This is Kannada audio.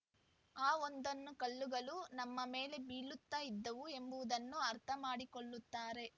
ಆ ಒಂದೊಂದು ಕಲ್ಲುಗಳು ನಮ್ಮ ಮೇಲೆ ಬೀಳುತ್ತಾ ಇದ್ದವು ಎಂಬುದನ್ನು ಅರ್ಥಮಾಡಿಕೊಳ್ಳುತ್ತಾರೆ